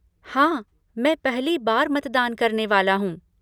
हाँ, मैं पहली बार मतदान करने वाला हूँ।